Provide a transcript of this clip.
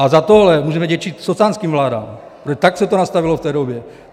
A za tohle můžeme vděčit socanským vládám, protože tak se to nastavilo v té době.